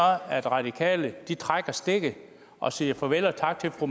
at radikale vil trække stikket og sige farvel og tak til fru